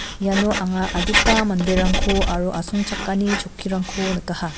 iano anga adita manderangko aro asongchakani chokkirangko nikaha.